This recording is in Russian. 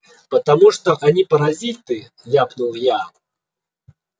потому что они паразиты ляпнул я